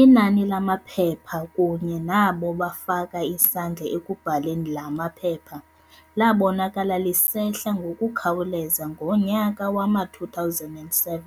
Inani lamaphepha kunye nabo bafaka isandla ekubhaleni laa maphepha labonakala lisehla ngokukhawuleza yomnyaka wama-2007.